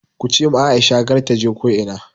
Kuce ma Aisha kar taje ko ina!